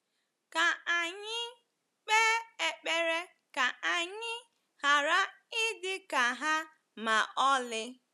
Ka anyị kpe ekpere ka anyị ghara ịdị ka ha ma ọlị.